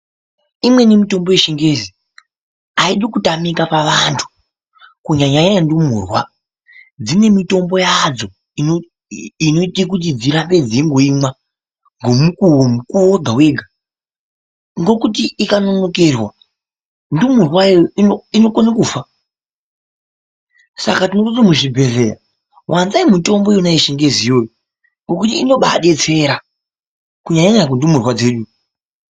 Umweni mitombo yechingezi , aidi kutamika paantu kunyanya nyanya ndumurwa , dzine mitombo yadzo ino inoita dzirambe dzeingoimwa ngomukuwo mukuwu wega wega , ngokuti ikanonokerwa , ndumurwayo inokona kufa ,Saka ndirkuti muzvibhodhlera wanzai mitombo Yona iyoyo yechingezi yoiyoyo ,ngokuti inoba detsera kunyanya nyanya kundumurwa dzedu.